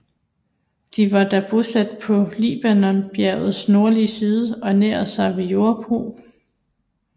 De var da bosatte på Libanonbjergets nordlige sider og ernærede sig ved jordbrug